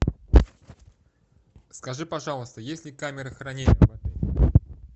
скажи пожалуйста есть ли камеры хранения